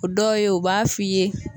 O dɔw ye u b'a fɔ'i ye.